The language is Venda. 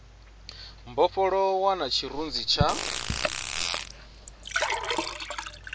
mbofholowo na tshirunzi tsha muthu